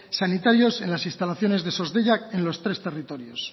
sanitarios en las instalaciones de sos deiak en los tres territorios